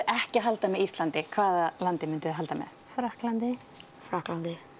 ekki að halda með Íslandi hvað landi mynduð þið halda með Frakklandi Frakklandi